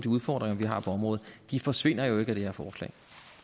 udfordringer vi har på området de forsvinder jo ikke med det her forslag